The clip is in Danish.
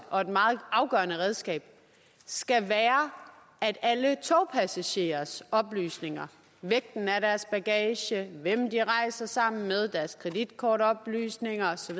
og et meget afgørende redskab skal være at alle togpassagerers oplysninger vægten af deres bagage hvem de rejser sammen med deres kreditkortoplysninger og så